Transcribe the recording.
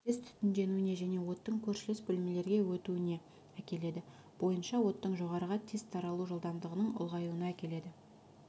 тез түтіндеуіне және оттың көршілес бөлмелерге өтуіне әкеледі бойынша оттың жоғарыға тез таралу жылдамдығының ұлғаюына әкеледі